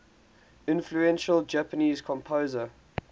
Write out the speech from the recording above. influential japanese composer